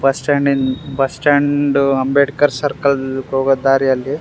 Bus stand ನ್ bus stand Ambedkar circle ಹೋಗೊ ದಾರಿಯಲ್ಲಿ.